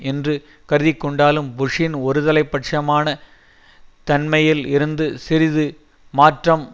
என்று கருதிக்கொண்டாலும் புஷ்ஷின் ஒருதலை பட்சமான தன்மையில் இருந்து சிறிது மாற்றம்